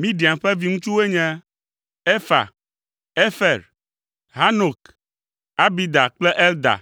Midian ƒe viŋutsuwoe nye: Efa, Efer, Hanok, Abida kple Elda.